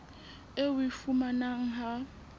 eo o e fumanang ha